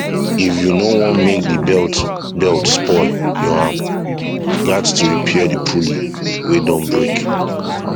if you no want make the belt belt spoil u um gats to repair the pulley wey don break